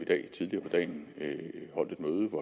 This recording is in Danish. tidligere på dagen holdt